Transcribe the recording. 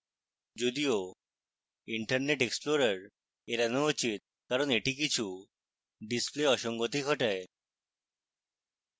যদিও internet explorer এড়ানো উচিত কারণ এটি কিছু display অসঙ্গতি ঘটায়